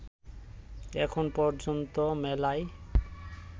এখন পর্যন্ত মেলায়